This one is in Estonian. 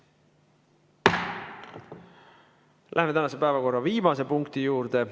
Läheme tänase päevakorra viimase punkti juurde.